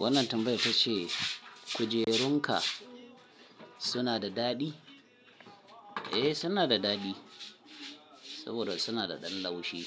Wannan tambayar tace kujerunka suna da daɗi? Eh suna da daɗi saboda suna da ɗan laushi